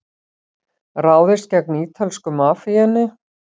Ráðist gegn ítölsku mafíunni